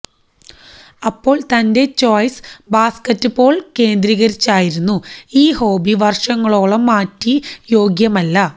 അപ്പോൾ തന്റെ choice basketball കേന്ദ്രീകരിച്ചായിരുന്നു ഈ ഹോബി വര്ഷങ്ങളോളം മാറ്റി യോഗ്യമല്ല